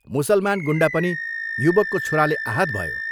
मुसलमान गुण्डा पनि युवकको छुराले आहत भयो।